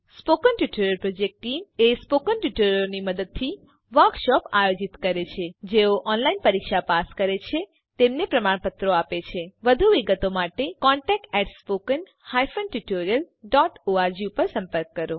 spoken tutorial project team spoken ટ્યુટોરીયલોનાં મદદથી વર્કશોપોનું આયોજન કરે છે જેઓ ઓનલાઈન પરીક્ષા પાસ કરે છે તેમને પ્રમાણપત્રો આપે છે વધુ વિગત માટે કૃપા કરી contactspoken tutorialorg પર સંપર્ક કરો